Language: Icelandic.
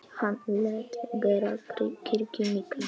Hann lét gera kirkju mikla.